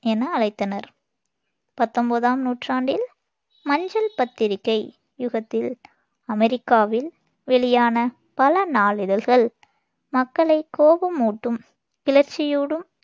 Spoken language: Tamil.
என அழைத்தனர். பத்தொன்பதாம் நூற்றாண்டில் மஞ்சள் பத்திரிகை யுகத்தில் அமெரிக்காவில் வெளியான பல நாளிதழ்கள் மக்களை கோபமூட்டும், கிளர்ச்சியூடும்